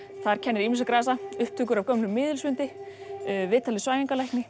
þar kennir ýmissa grasa upptökur af gömlum miðilsfundi viðtal við